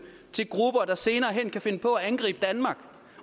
til grupper der senere hen kan finde på at angribe danmark